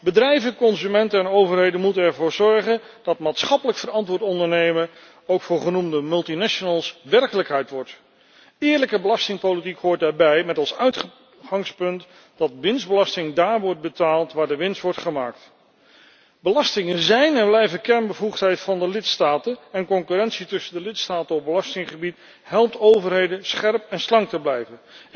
Bedrijven, consumenten en overheden moeten ervoor zorgen dat maatschappelijk verantwoord ondernemen ook voor genoemde multinationals werkelijkheid wordt. Eerlijke belastingpolitiek hoort daarbij met als uitgangspunt dat winstbelasting daar wordt betaald, waar de winst wordt gemaakt. Belastingen zijn en blijven kernbevoegdheid van de lidstaten en concurrentie tussen de lidstaten op belastinggebied helpt overheden scherp en slank te blijven.